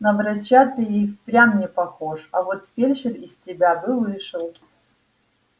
на врача ты и впрямь не похож а вот фельдшер из тебя бы вышел